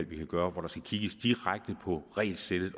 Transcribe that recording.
vi kan gøre og hvor der skal kigges direkte på regelsættet i